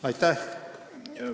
Aitäh!